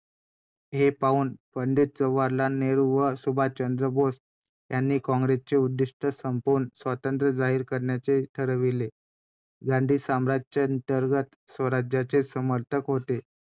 त्यांना त्यांनी इथून शिकवायला सुरुवात केली आणि इतर बऱ्याच गोष्टी पण त्यात पण त्यांना आपल्या बाकीच्या सासरच्या लोकांपासून जो संघर्ष मिळाला त्या सगळ्या गोष्टी पाहून तर मला खरंच खूप वाईट वाटत होतं.